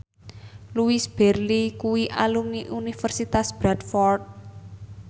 Louise Brealey kuwi alumni Universitas Bradford